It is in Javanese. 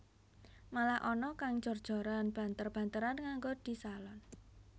Malah ana kang jor joran banter banteran nganggo disalon